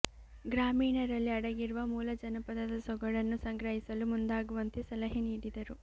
ಗ್ರಾಮೀಣರಲ್ಲಿ ಅಡಗಿರುವ ಮೂಲ ಜನಪದದ ಸೊಗಡನ್ನು ಸಂಗ್ರಹಿಸಲು ಮುಂದಾಗುವಂತೆ ಸಲಹೆ ನೀಡಿದರು